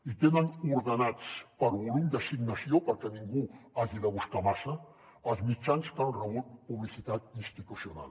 i tenen ordenats per volum d’assignació perquè ningú ho hagi de buscar massa els mitjans que han rebut publicitat institucional